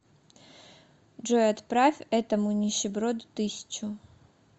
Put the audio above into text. джой отправь этому нищеброду тысячу